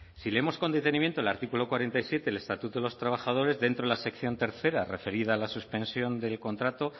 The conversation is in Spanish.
si leemos con detenimiento el artículo cuarenta y siete del estatuto de los trabajadores dentro de la sección tercero referida a la suspensión del contrato